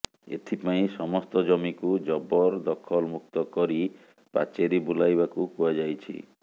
ଏଥିପାଇଁ ସମସ୍ତ ଜମିକୁ ଜବରଦଖଲମୁକ୍ତ କରି ପାଚେରି ବୁଲାଇବାକୁ କୁହାଯାଇଛି